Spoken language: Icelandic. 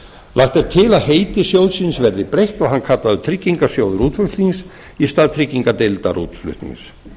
lagt er til að heiti sjóðsins verði breytt og hann kallaður tryggingarsjóður útflutnings í stað tryggingardeildar útflutnings